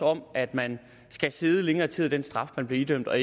om at man skal sidde længere tid af den straf man bliver idømt af og